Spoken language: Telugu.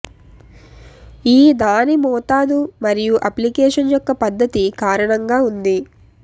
ఈ దాని మోతాదు మరియు అప్లికేషన్ యొక్క పద్ధతి కారణంగా ఉంది